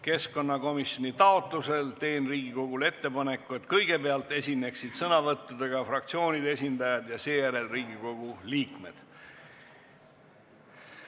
Keskkonnakomisjoni taotlusel teen Riigikogule ettepaneku, et kõigepealt esineksid sõnavõttudega fraktsioonide esindajad ja seejärel Riigikogu liikmed.